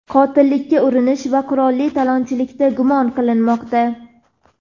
qotillikka urinish va qurolli talonchilikda gumon qilinmoqda.